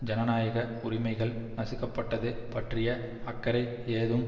ஜனநாயக உரிமைகள் நசுக்கப்பட்டது பற்றிய அக்கறை ஏதும்